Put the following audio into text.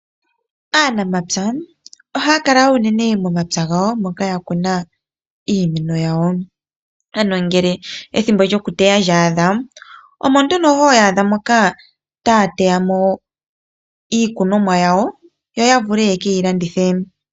Aanamapya ohaya kala unene momapya gawo moka yakuna iimeno yawo. Ngele ethimbo lyokuteya lyaadha omo nduno hoya adha moka taya teya mo iikunomwa yawo, yo ya vule yekeyi landithe.